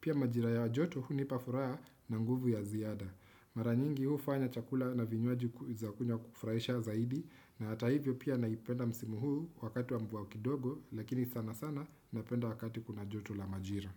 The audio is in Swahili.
Pia majira ya joto hunipafuraa na nguvu ya ziyada. Maranyingi hufanya chakula na vinywaji kuzakunywa kufraisha zaidi. Na ata hivyo pia naipenda msimu huu wakati wa mvua kidogo lakini sana sana napenda wakati kuna joto la majira.